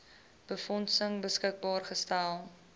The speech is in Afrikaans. befondsing beskikbaar gestel